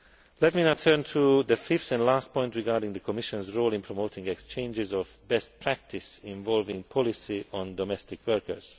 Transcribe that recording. Let me now turn to the fifth and last point regarding the Commission's role in promoting exchanges of best practice involving policy on domestic workers.